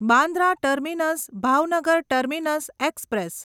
Bandra terminus Bhavnagar terminus express